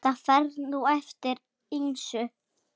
Það fer nú eftir ýmsu.